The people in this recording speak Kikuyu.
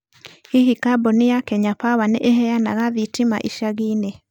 Hihi kambuni ya Kenya Power nĩ ĩheanaga thitima ĩcagi-inĩ?